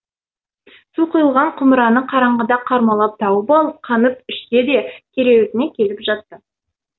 су құйылған құмыраны қараңғыда қармалап тауып алып қанып ішті де кереуетіне келіп жатты